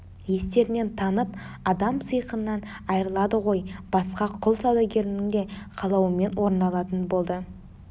естерінен танып адам сиқынан айрылады ғой басқа құл саудагерлерінің де қалауымен орындалатын болды